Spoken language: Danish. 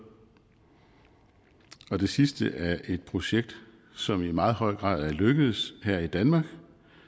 og det sidste er et projekt som i meget høj grad er lykkedes her i danmark